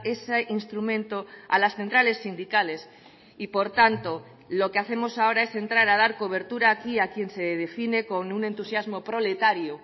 ese instrumento a las centrales sindicales y por tanto lo que hacemos ahora es entrar a dar cobertura aquí a quien se define con un entusiasmo proletario